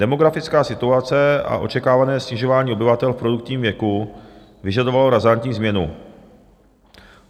Demografická situace a očekávané snižování obyvatel v produktivním věku vyžadovalo razantní změnu.